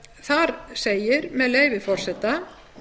þar segir með leyfi forseta